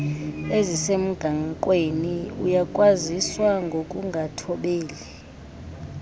ezisemgaqweni uyakwaziswa ngokungathobeli